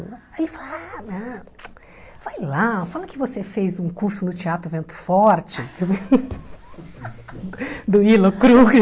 Aí ele falou, ah, não vai lá, fala que você fez um curso no Teatro Vento Forte, do Ilo Krugli.